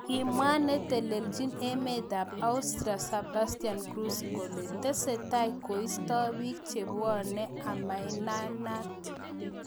Kimwa netelejin emet ab Austria Sebastian Kurz kole tesetai koisto bik chebwonei amaianat.